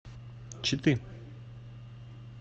читы